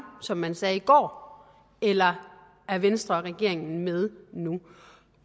som man sagde i går eller er venstre og regeringen med nu